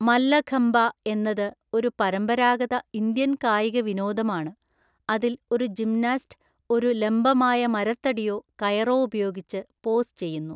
മല്ലഖമ്പ എന്നത് ഒരു പരമ്പരാഗത ഇന്ത്യൻ കായിക വിനോദമാണ്, അതിൽ ഒരു ജിംനാസ്റ്റ് ഒരു ലംബമായ മരത്തടിയോ കയറോ ഉപയോഗിച്ച് പോസ് ചെയ്യുന്നു.